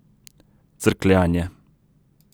Crkljanje.